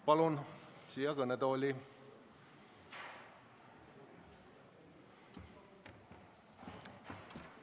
Palun siia kõnetooli!